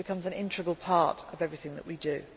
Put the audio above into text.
a dialogue. It becomes an integral part of everything